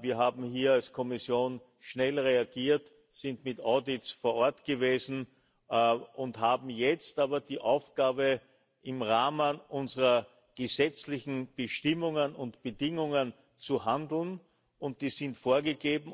Wir haben hier als Kommission schnell reagiert, sind mit Audits vor Ort gewesen und haben jetzt aber die Aufgabe, im Rahmen unserer gesetzlichen Bestimmungen und Bedingungen zu handeln, und die sind vorgegeben.